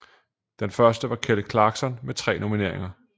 Den første var Kelly clarkson med tre nomineringer